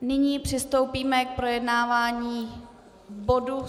Nyní přistoupíme k projednávání bodu